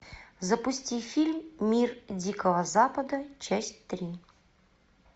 запусти фильм мир дикого запада часть три